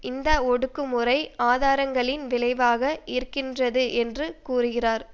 இந்த ஒடுக்கு முறை ஆதாரங்களின் விளைவாக இருக்கின்றது என்று கூறுகிறார்